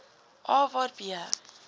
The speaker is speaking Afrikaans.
a waar b